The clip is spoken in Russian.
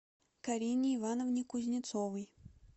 карине ивановне кузнецовой